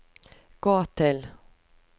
gå til